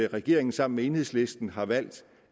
regeringen sammen med enhedslisten har valgt